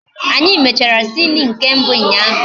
Anyị mechara sini nke mbụ ụnyaahụ